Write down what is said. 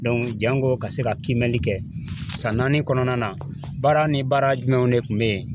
jango ka se ka kiimɛni kɛ san naani kɔnɔna na baara ni baara jumɛnw de kun be yen